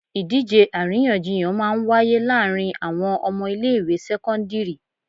Ìdíje àríyànjiyàn máa ń wáyé láàárín àwọn ọmọ ilé ìwé sẹ́kọ́ńdírì.